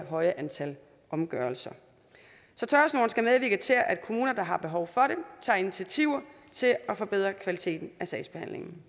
høje antal omgørelser så tørresnoren skal medvirke til at kommuner der har behov for det tager initiativer til at forbedre kvaliteten af sagsbehandlingen